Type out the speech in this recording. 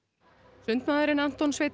sundmaðurinn Anton Sveinn